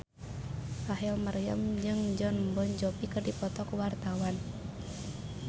Rachel Maryam jeung Jon Bon Jovi keur dipoto ku wartawan